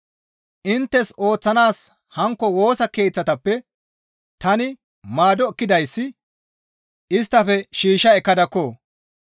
Inttes ooththanaas hankko Woosa Keeththatappe tani maado ekkidayssi isttafe shiishsha ekkadakko.